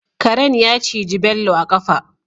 Karen ya ciji Bello a kafa